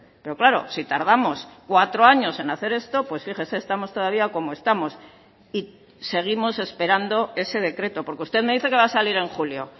pero claro sí tardamos cuatro años en hacer esto pues fíjese estamos todavía como estamos y seguimos esperando ese decreto porque usted me dice que va a salir en julio